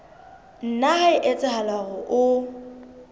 nna ha etsahala hore o